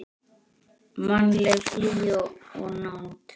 Mannleg hlýja og nánd.